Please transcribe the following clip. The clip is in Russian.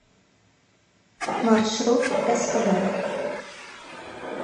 маршрут эскобар